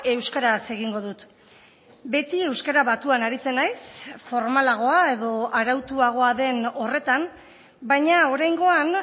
euskaraz egingo dut beti euskara batuan aritzen naiz formalagoa edo arautuagoa den horretan baina oraingoan